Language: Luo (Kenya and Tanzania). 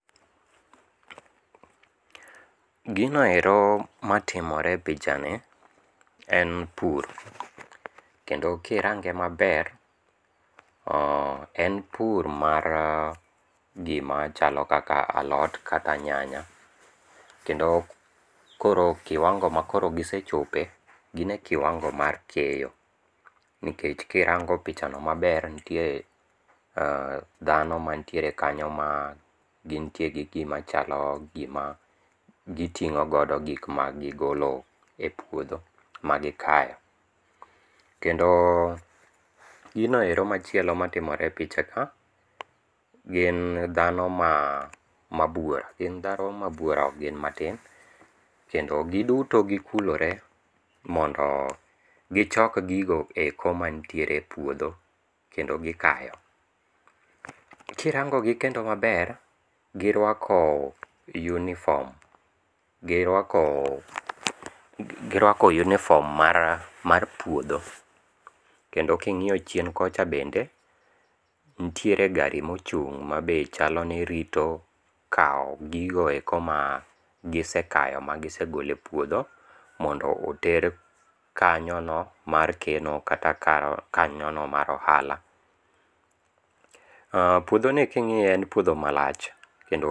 Gino ero matimore e pichani en pur, kendo kirange maber en pur mar gimachalo kaka alot kata nyanya, kendo koro kiwango makoro gisechope gin e kiwango mar keyo nikech kirango pichano maber ntiere dhano mantiere kanyo ma gintie gi gimachalo gima giting'o godo gikma gigolo e puodho magikayo kendo gino ero machielo matimore e picha ka gin dhano ma bwora gin dhano mabwora ok gin matin kendo giduto gikulore mondo gichok gigo eko mantiere e puodho kendo gikayo. Kirangogi kendo maber girwako yunifom girwako yunifom mar puodho, kendo king'iyo chien kocha bende nitiere gari mochung' ma be chalo ni rito kawo gigo eko magisekayo magisegolo e puodho mondo oter kanyono mar keno kata kanyono mar ohala. Puodhoni king'iye en puodho malach kendo.